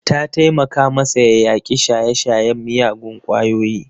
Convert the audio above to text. Ta taimaka masa ya yaƙi shaye-shayen miyagun kwayoyi.